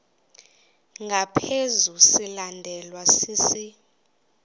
ngaphezu silandelwa sisi